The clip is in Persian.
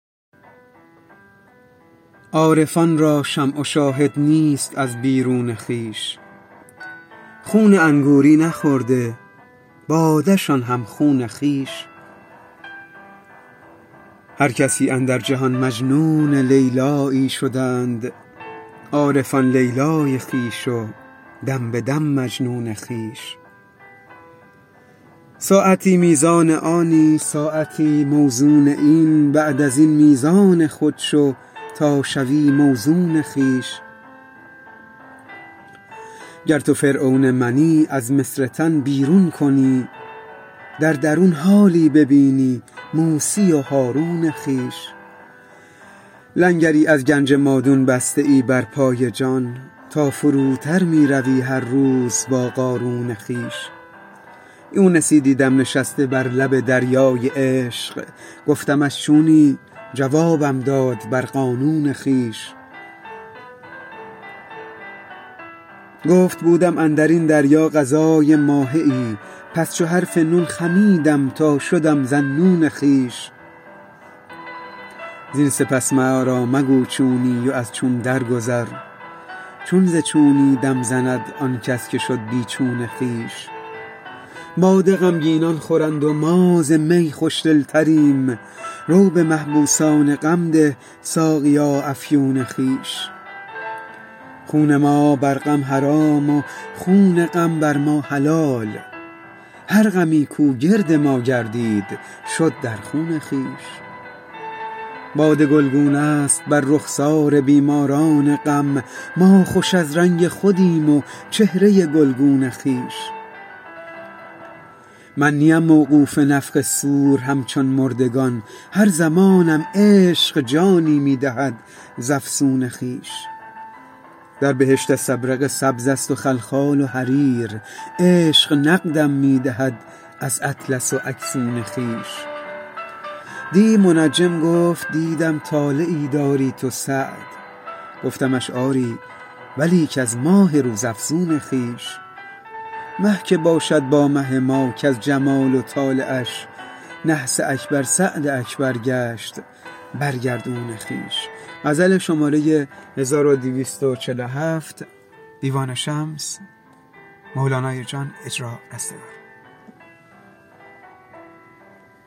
عارفان را شمع و شاهد نیست از بیرون خویش خون انگوری نخورده باده شان هم خون خویش هر کسی اندر جهان مجنون لیلیی شدند عارفان لیلی خویش و دم به دم مجنون خویش ساعتی میزان آنی ساعتی موزون این بعد از این میزان خود شو تا شوی موزون خویش گر تو فرعون منی از مصر تن بیرون کنی در درون حالی ببینی موسی و هارون خویش لنگری از گنج مادون بسته ای بر پای جان تا فروتر می روی هر روز با قارون خویش یونسی دیدم نشسته بر لب دریای عشق گفتمش چونی جوابم داد بر قانون خویش گفت بودم اندر این دریا غذای ماهیی پس چو حرف نون خمیدم تا شدم ذاالنون خویش زین سپس ما را مگو چونی و از چون درگذر چون ز چونی دم زند آن کس که شد بی چون خویش باده غمگینان خورند و ما ز می خوش دلتریم رو به محبوسان غم ده ساقیا افیون خویش خون ما بر غم حرام و خون غم بر ما حلال هر غمی کو گرد ما گردید شد در خون خویش باده گلگونه ست بر رخسار بیماران غم ما خوش از رنگ خودیم و چهره گلگون خویش من نیم موقوف نفخ صور همچون مردگان هر زمانم عشق جانی می دهد ز افسون خویش در بهشت استبرق سبزست و خلخال و حریر عشق نقدم می دهد از اطلس و اکسون خویش دی منجم گفت دیدم طالعی داری تو سعد گفتمش آری ولیک از ماه روزافزون خویش مه که باشد با مه ما کز جمال و طالعش نحس اکبر سعد اکبر گشت بر گردون خویش